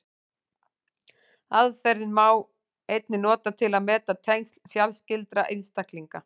Aðferðina má einnig nota til að meta tengsl fjarskyldari einstaklinga.